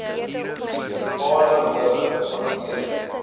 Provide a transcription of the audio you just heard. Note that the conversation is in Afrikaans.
munisipale howe hanteer